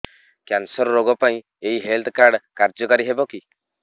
cancer ରୋଗ ପାଇଁ ଏଇ ହେଲ୍ଥ କାର୍ଡ କାର୍ଯ୍ୟକାରି ହେବ କି